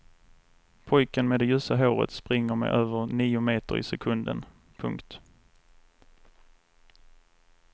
Pojken med det ljusa håret springer med över nio meter i sekunden. punkt